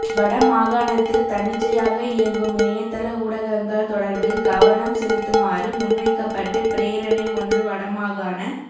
வட மாகாணத்தில் தன்னிச்சையாக இயங்கும் இணையத்தள ஊடகங்கள் தொடர்பில் கவனம் செலுத்துமாறு முன்வைக்கப்பட்டு பிரேரணை ஒன்று வடமாகாண